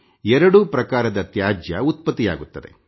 ಎರಡು ಪ್ರಕಾರದ ತ್ಯಾಜ್ಯ ಉತ್ಪತ್ತಿಯಾಗುತ್ತದೆ